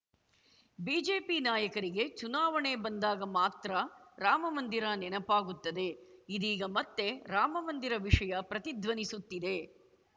BJP ನಾಯಕರಿಗೆ ಚುನಾವಣೆ ಬಂದಾಗ ಮಾತ್ರ ರಾಮಮಂದಿರ ನೆನಪಾಗುತ್ತದೆ ಇದೀಗ ಮತ್ತೆ ರಾಮಮಂದಿರ ವಿಷಯ ಪ್ರತಿಧ್ವನಿಸುತ್ತಿದೆ